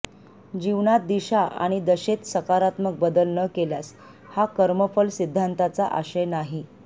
जीवनात दिशा आणि दशेत सकारात्मक बदल न केल्यास हा कर्मफल सिद्धांताचा आशय नाही